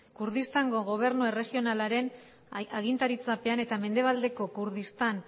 kurdistango gobernu erregionalaren agintaritzapean eta mendebaldeko kurdistan